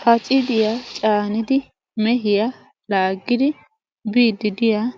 pacidiyaa caanidi mehiyaa laaggidi biiddi diyaa